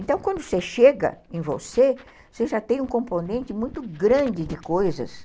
Então, quando você chega em você, você já tem um componente muito grande de coisas.